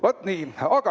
Vaat nii!